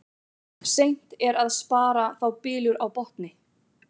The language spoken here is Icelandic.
Seint er að spara þá bylur á botni.